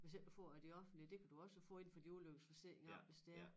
Hvis ikke du får af det offentlige det kan du også få indefra din ulykkesforsikring af hvis det er